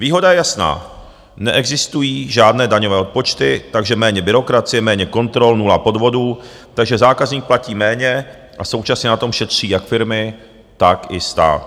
Výhoda je jasná - neexistují žádné daňové odpočty, takže méně byrokracie, méně kontrol, nula podvodů, takže zákazník platí méně a současně na tom šetří jak firmy, tak i stát.